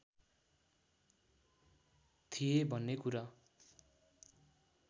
थिए भन्ने कुरा